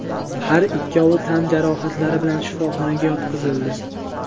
Har ikkovi tan jarohatlari bilan shifoxonaga yotqizildi.